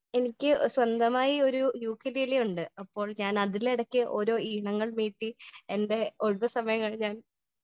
Speaker 1 എനിക്ക് സ്വന്തമായി ഒരു യുക്കിലേലെ ഉണ്ട് . അപ്പോൾ ഞാൻ അതിൽ ഇടയ്ക്ക് ഓരോ ഈണങ്ങൾ മീട്ടി എന്റെ ഒഴിവ് സമയങ്ങൾ ഞാൻ